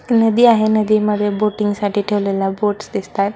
नदी आहे नदीमध्ये बोटिंग साठी ठेवलेल्या बोट्स दिसतायत.